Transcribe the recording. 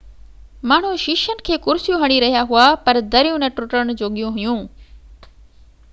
ماڻهو شيشن کي ڪرسيون هڻي رهيا هئا پر دريون نہ ٽٽڻ جوڳيون هئيون